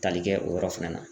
Tali kɛ o yɔrɔ fɛnɛ na.